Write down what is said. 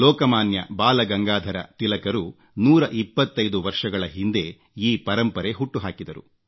ಬಾಲ ಗಂಗಾಧರ ಲೋಕಮಾನ್ಯ ತಿಲಕರು 125 ವರ್ಷಗಳ ಹಿಂದೆ ಈ ಪರಂಪರೆ ಹುಟ್ಟುಹಾಕಿದರು